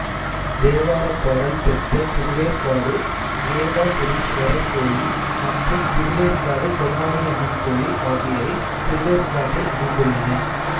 தேவாரப்பாடல் பெற்ற திருவேற்காடு வேதபுரீஸ்வரர் கோயில் மற்றும் திருவேற்காடு கருமாரி அம்மன் கோயில் ஆகியவை திருவேற்காட்டில் அமைந்துள்ளன